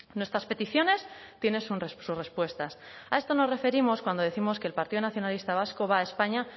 nuestras peticiones tienen sus respuestas a esto nos referimos cuando décimos que el partido nacionalista vasco va a españa